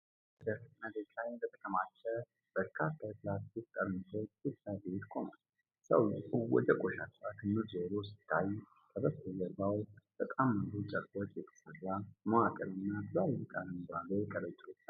አንድ ወጣት በደረቅ መሬት ላይ በተከማቹ በርካታ የፕላስቲክ ጠርሙሶች ፊት ለፊት ቆሟል። ሰውዬው ወደ ቆሻሻው ክምር ዞሮ ሲታይ፣ ከበስተጀርባ በተጣመሩ ጨርቆች የተሰራ መዋቅርና ትላልቅ አረንጓዴ ከረጢቶች አሉ።